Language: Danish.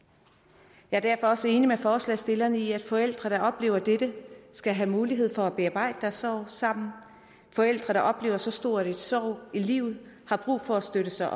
jeg er derfor også enig med forslagsstillerne i at forældre der oplever dette skal have mulighed for at bearbejde deres sorg sammen forældre der oplever så stor en sorg i livet har brug for at støtte sig